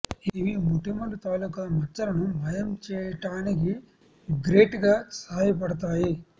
ఇవి మొటిమల తాలూకు మచ్చలను మాయం చేయడానికి గ్రేట్ గా సహాయపడుతాయి